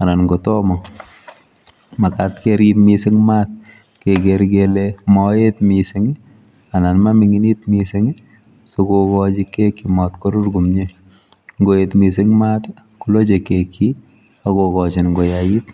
anan ko tomo. Makat kerip mising mat keker kele maet mising anan mamining'it mising sikobit kokochi keki marur komie. Nkoet mising mat koloche keki akokochin koyait.